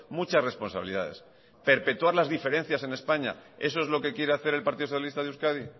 muchas responsabilidades perpetuar las diferencias en españa eso es lo que quiere hacer el partido socialista de euskadi